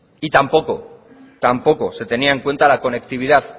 y tampoco se tenía en cuenta la conectividad